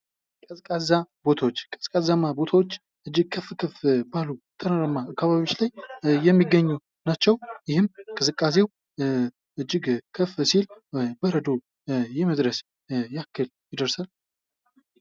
ቀዝቃዛ ቦታዎች ቀዝቃዛማ ቦታዎች ከፍ ከፍ ባሉ ተራራማ ቦታዎች ላይ የሚገኙ ናቸው። ይህም ቅዝቃዜው እጅግ ከፍ ሲል በረዶ የመድረስ ያህል ይደርሳል።